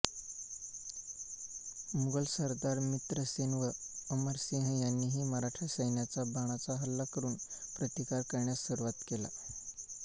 मुघल सरदार मित्रसेन व अमरसिंह यांनीही मराठा सैन्याचा बाणांचा हल्ला करुन प्रतिकार करण्यास सुरुवात केला